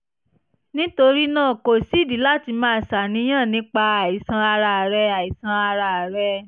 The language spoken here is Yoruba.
nítorí náà kò sídìí láti máa ṣàníyàn nípa àìsàn ara rẹ àìsàn ara rẹ